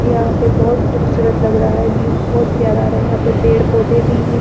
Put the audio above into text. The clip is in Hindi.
ये यहाँ पे बहुत खूबसूरत लग रहा है व्यू बहुत प्यारा आ रहा है यहाँ पे पेड़ पौधे भी हैं।